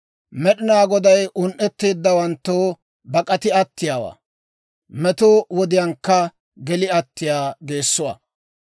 Med'inaa Goday un"etteeddawanttoo bak'ati attiyaawaa; meto wodiyaankka geli attiyaa geessuwaa.